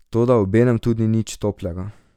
Toda obenem tudi nič toplega.